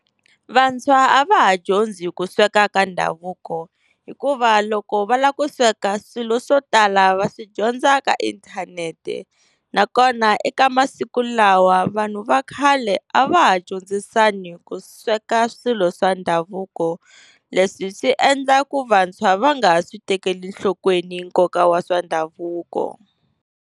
Vantshwa a va ha dyondzi ku sweka ka ndhavuko hikuva loko va lava ku sweka swilo swo tala va swi dyondza ka inthanete, nakona eka masiku lawa vanhu va khale a va ha dyondzisani ku sweka swilo swa ndhavuko. Leswi swi endla ku vantshwa va nga ha swi tekeli enhlokweni nkoka wa swa ndhavuko.